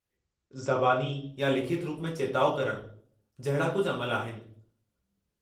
ज़बानी या लिखतु रूप में चेताउ करणु जहिड़ा कुझु अमल आहिनि।